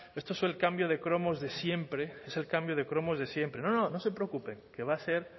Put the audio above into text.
esto es el cambio de cromos de siempre es el cambio de cromos de siempre no no se preocupe que va a ser